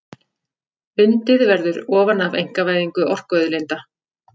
Undið verði ofan af einkavæðingu orkuauðlinda